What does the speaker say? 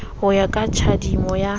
ho ya ka tjhadimo ya